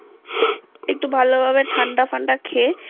একটু ভালোভাবে ঠাণ্ডা ফান্ডা খেয়ে